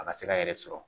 A ka se k'a yɛrɛ sɔrɔ